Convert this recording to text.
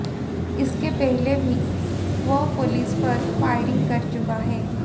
इसके पहले भी वह पुलिस पर फायरिंग कर चुका है